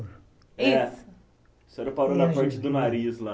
Isso É A senhora parou na parte do nariz lá.